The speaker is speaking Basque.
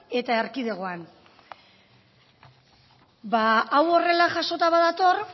eta erkidegoan hau horrela jasota badator